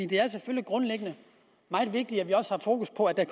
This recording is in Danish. det er selvfølgelig grundlæggende meget vigtigt at vi har fokus på at